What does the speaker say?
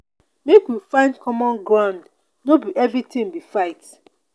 make we find common ground no be everytin be fight.